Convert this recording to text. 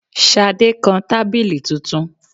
Ṣadé kan tábìlì tuntun.